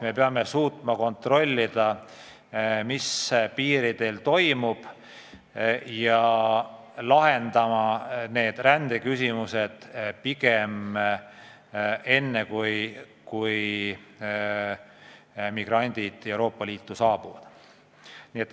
Me peame suutma kontrollida, mis piiridel toimub, ja lahendama rändeküsimused pigem enne, kui migrandid Euroopa Liitu saabuvad.